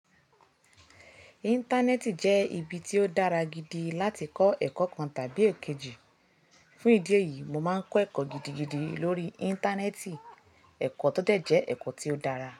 Íńtánẹ́ẹ̀tì jẹ́ ibi tí ó dára gidi láti kọ́ ẹ̀kọ́ kan tàbí èkejì. Fún ìdí èyí, mo máa ń kọ́ ẹ̀kọ́ gidigidi lórí íńtánẹ́ẹ̀tì. Ẹ̀kọ́ tó dẹ̀ jẹ́ ẹ̀kọ́ tió dára.